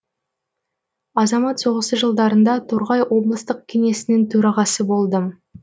азамат соғысы жылдарында торғай облыстық кеңесінің төрағасы болдым